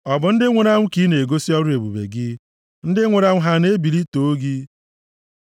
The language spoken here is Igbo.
ọ bụ ndị nwụrụ anwụ ka ị na-egosi ọrụ ebube gị? Ndị nwụrụ anwụ, ha na-ebili too gị? Sela